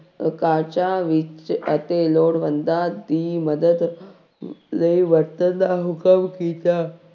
ਕਾਰਜਾਂ ਵਿੱਚ ਅਤੇ ਲੋੜਵੰਦਾਂ ਦੀ ਮਦਦ ਲਈ ਵਰਤਣ ਦਾ ਹੁਕਮ ਕੀਤਾ।